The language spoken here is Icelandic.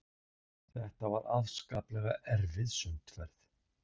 Þetta var afskaplega erfið sundferð.